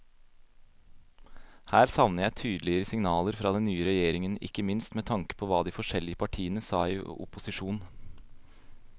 Her savner jeg tydeligere signaler fra den nye regjeringen, ikke minst med tanke på hva de forskjellige partiene sa i opposisjon.